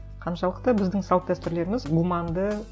қаншалықты біздің салт дәстүрлеріміз гуманды